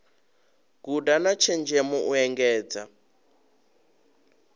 guda na tshenzhemo u engedza